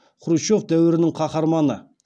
хрущев дәуірінің қаһарманы